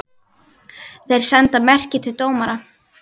Þeir senda merki til dómara.